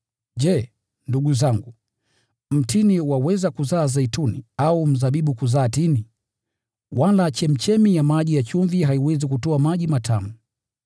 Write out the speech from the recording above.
Je, ndugu zangu, mtini waweza kuzaa zeituni, au mzabibu kuzaa tini? Wala chemchemi ya maji ya chumvi haiwezi kutoa maji matamu.